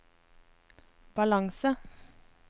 balanse